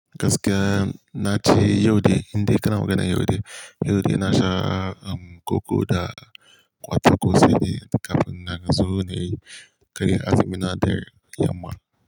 Gaskiya na ce Yaude, inde kana maganar yaude yaude na sha koko da kwatako sede kafina na zo ne, karya azumi na da yamma.